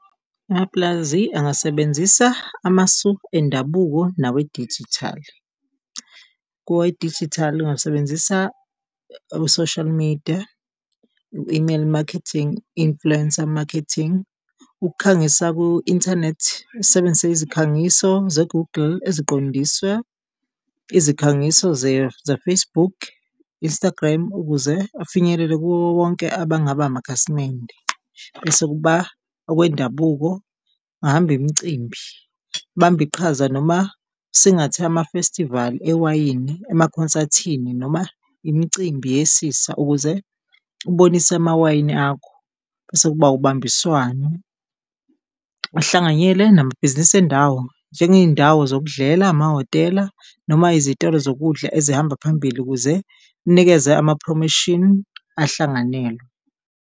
Amapulazi angasebenzisa amasu endabuko nawe dijithali. Kowe dijithali angasebenzisa abo-social media, u-email marketing, influencer marketing, ukukhangisa ku inthanethi asebenzise izikhangiso ze-Google eziqondiswe, izikhangiso ze-Facebook, Instagram ukuze afinyelele kuwo wonke abangaba amakhasimende. Bese kuba okwendabuko, ungahamba imicimbi ubambe iqhaza noma singathe ama-festival ewayini, ema consethini noma imicimbi yesisa ukuze ubonise amawayini akho. Bese kuba ubambiswano, uhlanganyele namabhizinisi endawo njengeyindawo zokudlela, amahhotela noma izitolo zokudla ezihamba phambili ukuze ninikeze ama-promotion ahlanganwele.